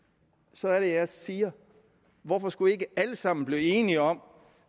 så er det jeg siger hvorfor skulle vi ikke alle sammen blive enige om